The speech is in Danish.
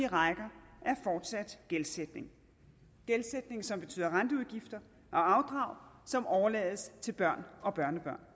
rækker er fortsat gældsætning gældsætning som betyder renteudgifter og afdrag som overlades til børn og børnebørn